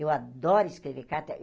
Eu adoro escrever carta.